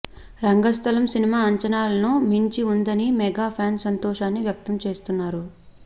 రంగస్థలం cinema అంచనాలను మించి ఉందని మెగా ఫ్యాన్స్ సంతోషాన్ని వ్యక్తం చేస్తున్నారు